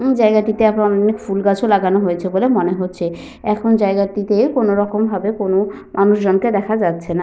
উম জায়গাটিতে এখন অনেক ফুলগাছও লাগানো হয়েছে বলে মনে হচ্ছে। এখন জায়গাটিতে কোনো রকম ভাবে কোনো মানুষজন কে দেখা যাচ্ছে না।